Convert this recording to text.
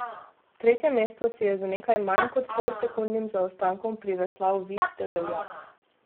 Tretje mesto si je z nekaj manj kot pol sekundnim zaostankom priveslal Vid Debeljak.